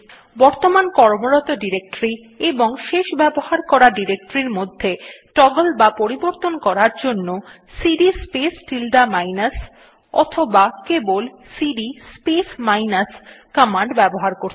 বর্তমান কর্মরত ডিরেক্টরী এবং শেষ ব্যবহার করা ডিরেক্টরী মধ্যে টগল বা পরিবর্তন করার জন্য সিডি স্পেস টিল্ডে মাইনাস অথবা কেবল সিডি স্পেস মাইনাস কমান্ড ব্যবহার করতে হয়